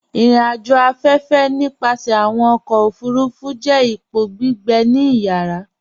Irìn-àjò afẹ́fẹ̀, nípasẹ̀ awọn ọkọ̀ ofurufu, jẹ́ ìpọ̀ gbígbẹ̀ ní ìyàrà